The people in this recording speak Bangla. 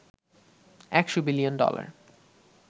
১০০বিলিয়ন ডলার